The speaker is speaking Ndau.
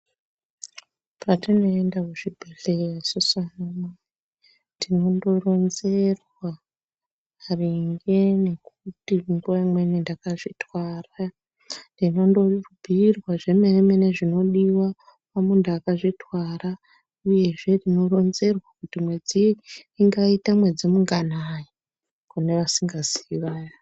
Patinoenda kuzvibhedhlera isusu tinondoronzerwa maringe nekuti munguva inweni ndakazvitwara ndinondobhuyirwa zvemene-mene zvinodiwa pamundu akazvitwara uyezve tinoronzerwa kuti mwedzi ingaita mwedzi munganai kune vasingazii vaya.